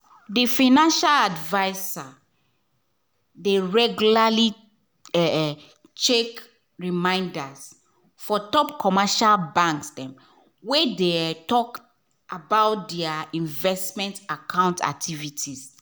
the financial advisor de regularly um check reminders for top commercial banks wey de um talk about their um investments account activity